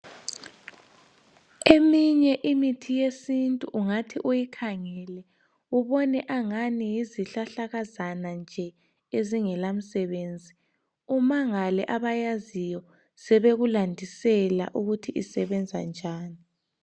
Eminye imithi yesintu ungathi uyikhangele ubone angani yizihlahlakazana nje ezingelamsebenzi, umangale abayaziyo sebekulandisela ukuthi isebenza njani.